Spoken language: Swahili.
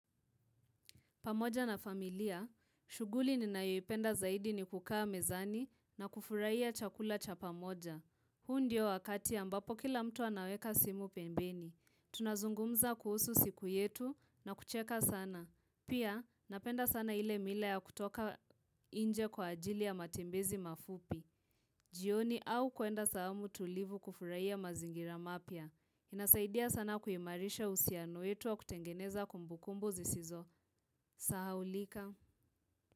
Pamoja na familia, shughuli ninayoipenda zaidi ni kukaa mezani na kufurahia chakula cha pamoja. Huu ndio wakati ambapo kila mtu anaweka simu pembeni. Tunazungumza kuhusu siku yetu na kucheka sana. Pia napenda sana ile mila ya kutoka nje kwa ajili ya matembezi mafupi. Jioni au kuenda sehemu tulivu kufurahia mazingira mapya. Inasaidia sana kuimarisha uhusiano wetu wa kutengeneza kumbukumbu zisizosahaulika.